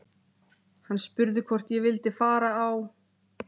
Hann spurði hvort ég vildi fara á